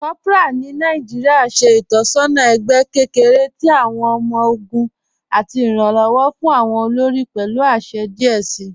Kòpọra ni Nàìjíríà ṣẹ̀ itọsọna ẹgbẹ̀ kẹkẹ̀rẹ̀ tì awọn ọmọ-ọgùn àti iranlọwọ fún awọn olórí pẹ̀lú àṣẹ̀ díẹ̀ sí.